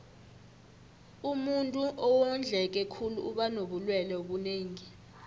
umuntuu owondleke khulu uba nobulelwe obunengi